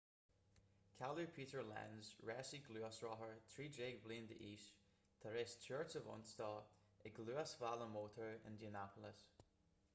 cailleadh peter lenz rásaí gluaisrothair 13 bliana d'aois tar éis tuairt a bhain dó ag luasbhealach mótair indianapolis